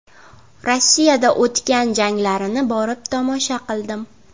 Rossiyada o‘tgan janglarini borib tomosha qildim.